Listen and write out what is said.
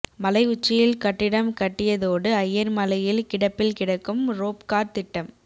மலை உச்சியில் கட்டிடம் கட்டியதோடு அய்யர்மலையில் கிடப்பில் கிடக்கும் ரோப்கார் திட்டம்